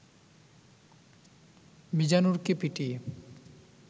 মিজানুরকে পিটিয়ে